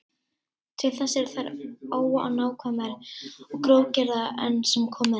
Til þess eru þær of ónákvæmar og grófgerðar enn sem komið er.